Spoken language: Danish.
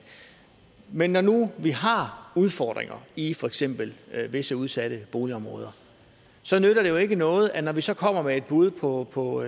men når nu vi har udfordringer i for eksempel visse udsatte boligområder nytter det jo ikke noget at vi så også kommer med et bud på på